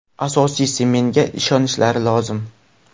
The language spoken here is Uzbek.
Asosiysi menga ishonishlari lozim.